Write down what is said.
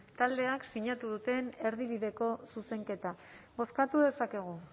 taldeak sinatu duten erdibideko zuzenketa bozkatu dezakegu